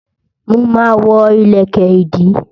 Mo ma ma wọ́ ìlẹ̀kẹ̀ ìdí